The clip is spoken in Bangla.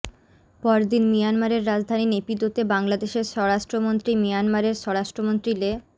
পরদিন মিয়ানমারের রাজধানী নেপিদোতে বাংলাদেশের স্বরাষ্ট্রমন্ত্রী মিয়ানমারের স্বরাষ্ট্রমন্ত্রী লে